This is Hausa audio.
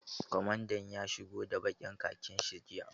Kwamandan ya shigo da ɓakin khakin shi jiya.